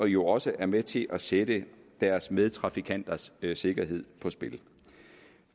jo også er med til at sætte deres medtrafikanters sikkerhed på spil